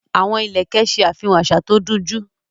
Àwọn ìlẹ̀kẹ̀ ṣe àfihàn àṣà tó dunjú